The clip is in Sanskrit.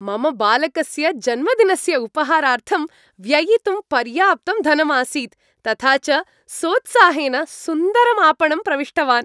मम बालकस्य जन्मदिनस्य उपहारार्थं व्ययितुं पर्याप्तं धनम् आसीत्, तथा च सोत्साहेन सुन्दरम् आपणं प्रविष्टवान्।